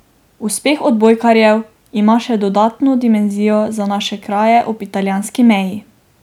Uspeh odbojkarjev ima še dodatno dimenzijo za naše kraje ob italijanski meji.